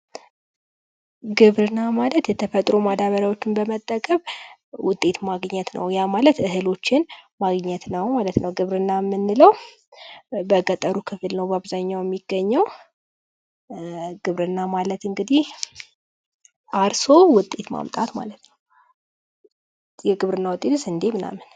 ግብርና ማለት የተለያዩ ማዳበሪያዎችን በመጠቀም ውጤት ማግኘት ነው ይሁን ማለት እህሎችን ማግኘት ነው ማለት ነው። ግብርና የምንለው በገጠሩ ክፍል ነው በአብዛኛው የሚገኘው፤ ግብርና ማለት እንግዲህ አርሶ ውጤት ማምጣት ማለት ነው። የግብርና ውጤቶች፦ ስንደ ምናምን